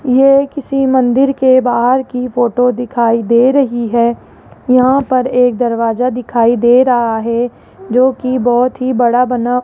ये किसी मंदिर के बाहर के फोटो दिखाई दे रही हैं यहाँ पर एक दरवाजा दिखाई दे रहा हैं जोकि बहोत हि बड़ा बना --